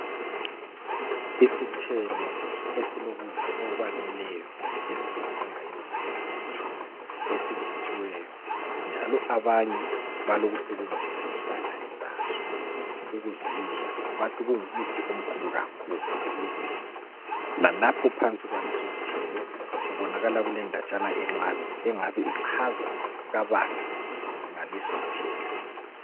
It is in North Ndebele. Isithelo esilokudla okwaneleyo, esikudingayo emzimbeni yethu. Esiv7thiweyo, njalo absnye balokusebenzisa intanga yaso, ukuzidla. Bathi zingumuthi omkhulu kakhulu emuntwini. Lalapha ngaphansi kubonakala kulendaba encane. Engabe ichaza kabanzi ngalesisithelo.